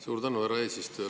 Suur tänu, härra eesistuja!